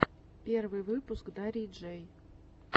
первый выпуск дарьи джэй